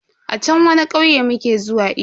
A chan wani kauye muke zuwa iyo.